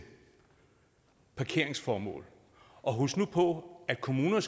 parkeringsformål og husk nu på at kommuner